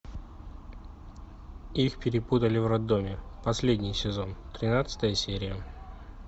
их перепутали в роддоме последний сезон тринадцатая серия